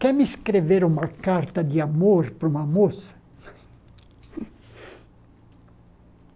Quer me escrever uma carta de amor para uma moça?